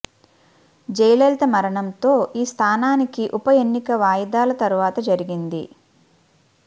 జయలలిత మరణంతో ఈ స్థానానికి ఉప ఎన్నిక వాయిదాల తరువాత జరిగింది